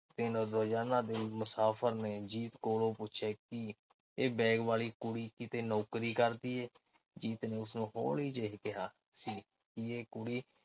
ਦਿਨ ਰੋਜ਼ਾਨਾ ਦੇ ਮੁਸਾਫ਼ਰ ਨੇ ਜੀਤ ਕੋਲੋਂ ਪੁੱਛਿਆ ਕਿ ਇਹ ਬੈਗ ਵਾਲੀ ਕੁੜੀ ਕਿਤੇ ਨੌਕਰੀ ਕਰਦੀ ਏ। ਜੀਤ ਨੇ ਉਸਨੂੰ ਹੌਲੀ ਜਿਹੇ ਕਿਹਾ ਸੀ ਕਿ ਇਹ ਕੁੜੀ